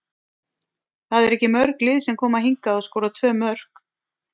Það eru ekki mörg lið sem koma hingað og skora tvö mörk.